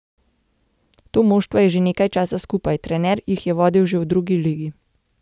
To moštvo je že nekaj časa skupaj, trener jih je vodil že v drugi ligi.